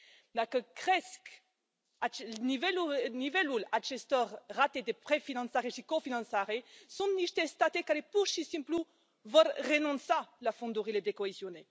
Dacă crește nivelul acestor rate de prefinanțare și cofinanțare, sunt niște state care, pur și simplu, vor renunța la fondurile de coeziune.